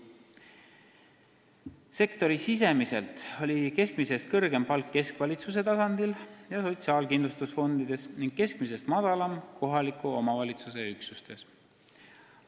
Sektori sees oli keskmisest kõrgem palk keskvalitsuse tasandil ja sotsiaalkindlustusfondides ning keskmisest madalam kohaliku omavalitsuse üksustes.